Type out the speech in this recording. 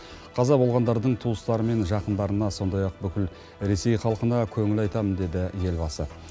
қаза болғандардың туыстары мен жақындарына сондай ақ бүкіл ресей халқына көңіл айтамын деді елбасы